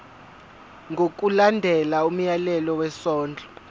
ngokulandela umyalelo wesondlo